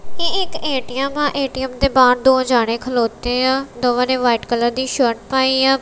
ਇਹ ਇੱਕ ਏ_ਟੀ_ਐਮ ਆ ਏ_ਟੀ_ਐਮ ਦੇ ਬਾਹਰ ਦੋ ਜਾਣੇ ਖਲੋਤੇ ਆ ਦੋਵਾਂ ਨੇ ਵਾਈਟ ਕਲਰ ਦੀ ਸ਼ਰਟ ਪਾਈ ਆ।